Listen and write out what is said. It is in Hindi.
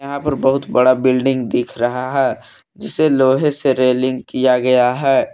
यहां पर बहुत बड़ा बिल्डिंग दिख रहा है जिसे लोहे से रेलिंग किया गया है।